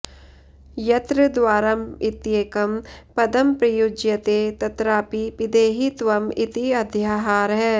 यत्र द्वारम् इत्येकं पदं प्रयुज्यते तत्रापि पिधेहि त्वम् इति अध्याहारः